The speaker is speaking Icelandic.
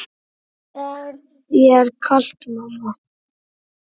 Er þér kalt mamma?